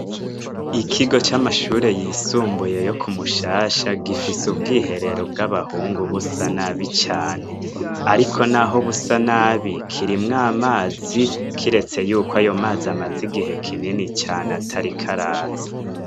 Ikigo c'amashure yisumbuye yo kumushasha gifise ubwiherero bw'abahungu busa n'abi cane, ariko, naho busa n'abi kirimwo amazi kiretse yuko ayo mazi amazi igihe kinini cane atari iko araza.